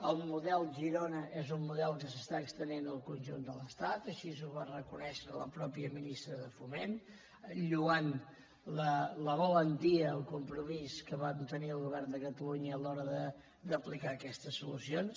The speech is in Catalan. el model girona és un model que s’està estenent al conjunt de l’estat així ho va reconèixer la mateixa ministra de foment lloant la valentia el compromís que vam tenir el govern de catalunya a l’hora d’apli·car aquestes solucions